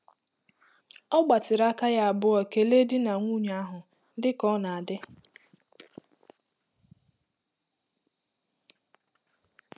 Ọ gbatịrị aka yá abụọ kelee di na nwunye ahụ, dị ka ọ na-adị.